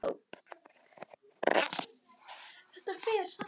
Sólveig: Hvernig er að skilja við?